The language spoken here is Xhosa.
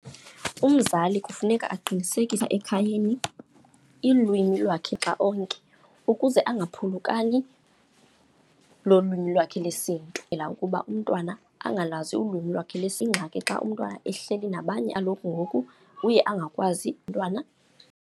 Umzali kufuneka aqinisekise ekhayeni ilwimi lwakhe xa onke, ukuze angaphulukani nolwimi lwakhe lesiNtu. ukuba umntwana angalwazi ulwimi lwakhe ingxaki xa umntwana ehleli nabanye ngoku uye angakwazi umntwana.